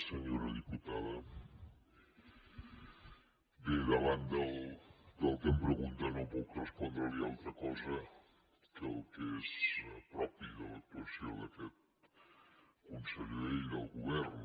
senyora diputada bé davant del que em pregunta no puc respondre li altra cosa que el que és propi de l’actuació d’aquest conseller i del govern